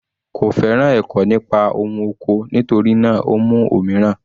Kò féràn ẹ̀kọ́ nípa ohun oko, nítorí náà o mú òmíràn.